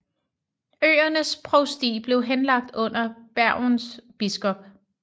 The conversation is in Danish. Øernes provsti blev henlagt under Bergens biskop